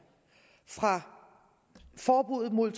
fra forbuddet mod